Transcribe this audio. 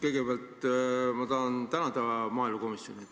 Kõigepealt tahan ma tänada maaelukomisjoni.